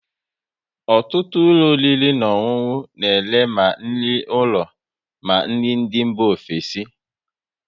Ọtụtụ ụlọ oriri na ọṅụnụ na ere ma nri ụlọ ma nri ndị mba ofesi